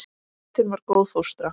Sveitin var góð fóstra.